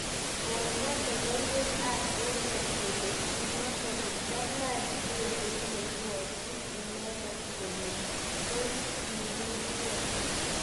komwo logoiwek ap emet kole kimwa kole kalny indegeit neipwotin inendet kole tos kowir ge.